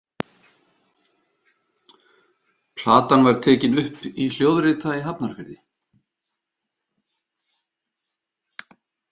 Platan var tekin upp í Hljóðrita í Hafnarfirði.